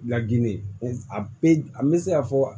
Laginɛ a pe an bɛ se ka fɔ